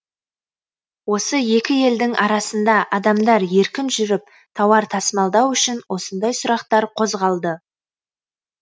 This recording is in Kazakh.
осы екі елдің арасында адамдар еркін жүріп тауар тасымалдау үшін осындай сұрақтар қозғалды